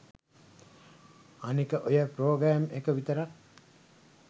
අනික ඔය ප්‍රොග්‍රෑම් එක විතරක්